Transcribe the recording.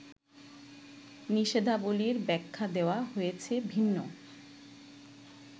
নিষেধাবলির ব্যাখ্যা দেওয়া হয়েছে ভিন্ন